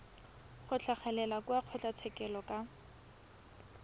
go tlhagelela kwa kgotlatshekelo ka